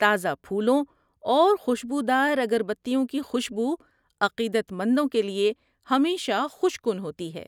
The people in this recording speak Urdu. تازہ پھولوں اور خوشبودار اگربتیوں کی خوشبو عقیدت مندوں کے لیے ہمیشہ خوش کن ہوتی ہے۔